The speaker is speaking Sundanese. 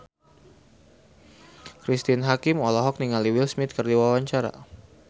Cristine Hakim olohok ningali Will Smith keur diwawancara